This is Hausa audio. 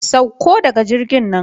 Sauko daga jirgin nan.